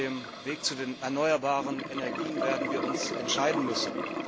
Auf dem Weg zu den erneuerbaren Energien werden wir uns entscheiden müssen.